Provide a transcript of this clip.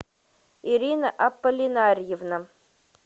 ирина аполлинарьевна